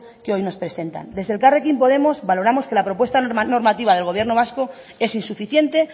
que hoy nos presenta desde elkarrekin podemos valoramos que la propuesta normativa del gobierno vasco es insuficiente